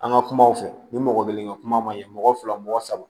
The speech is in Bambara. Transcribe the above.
An ka kumaw fɛ ni mɔgɔ kelen ka kuma maɲi mɔgɔ fila mɔgɔ saba